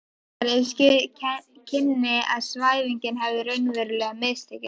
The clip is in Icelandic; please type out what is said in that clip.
Ragnhildar, ef ske kynni að svæfingin hefði raunverulega mistekist.